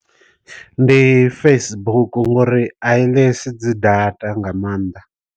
Ndi Facebook ngori a i ḽesi dzi data nga maanḓa.